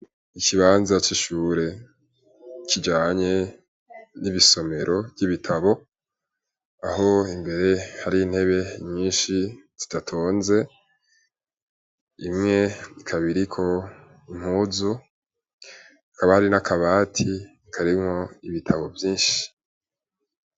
Ikibanza coishure kijanye n'ibisomero ry'ibitabo aho imbere hari ntebe nyinshi zitatonze imwe kabiriko impuzu akaba hari n'akabati karimwo ibitabo vyinshi z.